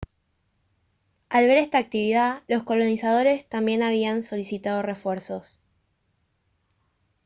al ver esta actividad los colonizadores también habían solicitado refuerzos